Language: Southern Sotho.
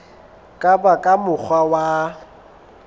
ka ba ka mokgwa wa